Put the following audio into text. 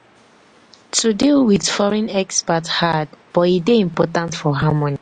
to deal with foreign expat hard but e dey important for harmony.